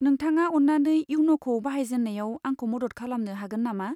नोंथाङा अन्नानै इयन'खौ बाहायजेन्नायाव आंखौ मदद खालामनो हागोन नामा?